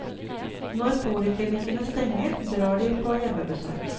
Når poliklinikkene stenger, drar de på hjemmebesøk.